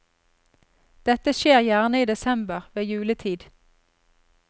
Dette skjer gjerne i desember, ved juletid.